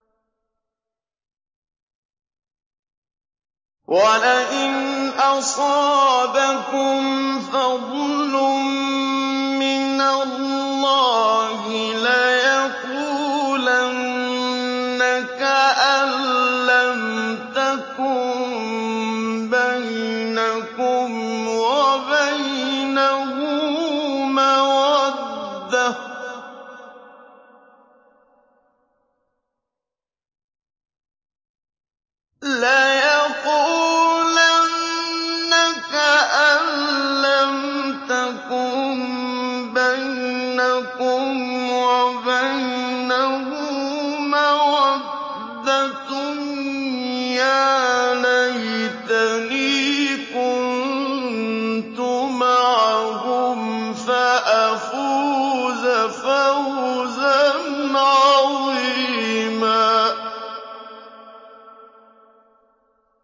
وَلَئِنْ أَصَابَكُمْ فَضْلٌ مِّنَ اللَّهِ لَيَقُولَنَّ كَأَن لَّمْ تَكُن بَيْنَكُمْ وَبَيْنَهُ مَوَدَّةٌ يَا لَيْتَنِي كُنتُ مَعَهُمْ فَأَفُوزَ فَوْزًا عَظِيمًا